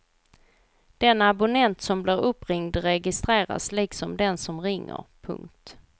Den abonnent som blir uppringd registreras liksom den som ringer. punkt